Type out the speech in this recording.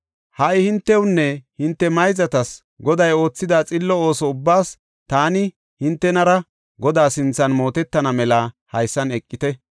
Ha77i hintewunne hinte mayzatas Goday oothida xillo ooso ubbaas taani hintenera Godaa sinthan mootetana mela haysan eqite.